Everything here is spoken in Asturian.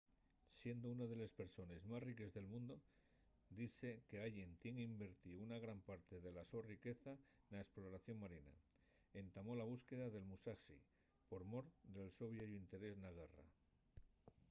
siendo una de les persones más riques del mundu dizse qu’allen tien invertío una gran parte de la so riqueza na esploración marina. entamó la búsqueda del musashi por mor del so vieyu interés na guerra